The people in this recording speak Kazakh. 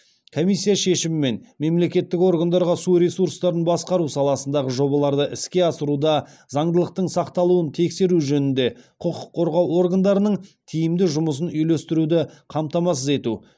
комиссия шешімімен мемлекеттік органдарға су ресурстарын басқару саласындағы жобаларды іске асыруда заңдылықтың сақталуын тексеру жөнінде құқық қорғау органдарының тиімді жұмысын үйлестіруді қамтамасыз ету